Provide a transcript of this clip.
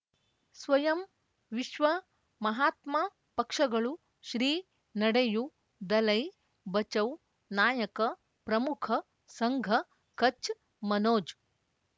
ಸ್ವಯಂ ವಿಶ್ವ ಮಹಾತ್ಮ ಪಕ್ಷಗಳು ಶ್ರೀ ನಡೆಯೂ ದಲೈ ಬಚೌ ನಾಯಕ ಪ್ರಮುಖ ಸಂಘ ಕಚ್ ಮನೋಜ್